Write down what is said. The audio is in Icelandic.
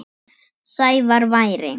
Sævar væri.